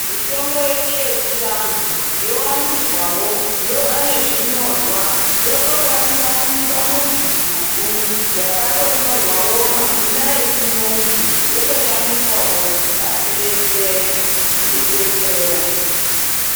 Mitombo yedu yechianhu wowandidzawo yova nezvinyorwa yotokwaniswa kuiswa muzvigubhu zvakatonyorwawo mazina echirungu yotoshandiswawo pasi reshe yeidetsera.